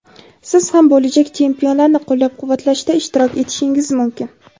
siz ham bo‘lajak chempionlarni qo‘llab-quvvatlashda ishtirok etishingiz mumkin.